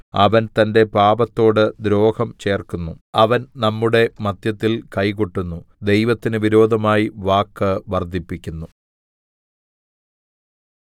അവൻ തന്റെ പാപത്തോട് ദ്രോഹം ചേർക്കുന്നു അവൻ നമ്മുടെ മദ്ധ്യത്തിൽ കൈ കൊട്ടുന്നു ദൈവത്തിന് വിരോധമായി വാക്ക് വർദ്ധിപ്പിക്കുന്നു